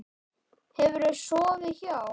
Hefurðu sofið hjá?